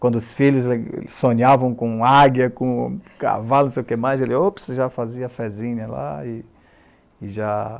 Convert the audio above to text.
Quando os filhos sonhavam com águia, com cavalo, não sei o que mais, ele, ops, já fazia fezinha lá e e já